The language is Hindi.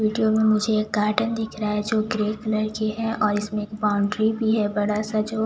विडिओ मे मुझे एक गार्डन दिख रहा है जो ग्रे कलर की है और उसमे बॉउन्ड्री भी है बड़ा सा जो--